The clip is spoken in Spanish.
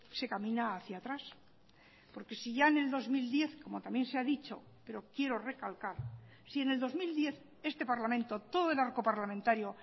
se camina hacia atrás por que si ya en el dos mil diez como también se ha dicho pero quiero recalcar si en el dos mil diez este parlamento todo el arco parlamentario